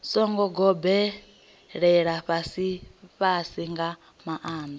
songo gobelela fhasifhasi nga maanḓa